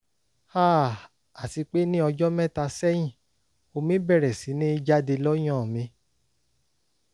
háà àti pé ní ọjọ́ mẹ́ta sẹ́yìn omi bẹ̀rẹ̀ sí ní jáde lọ́yàn mi